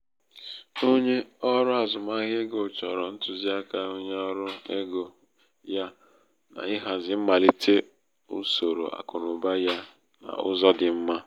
onye ọrụ azụmahịa ego chọrọ ntụziaka onye ọrụ ego ya n' ịhazi mmalite usoro akụnaụba ya n'ụzọ dị mma.